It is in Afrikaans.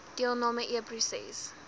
deelnam e proses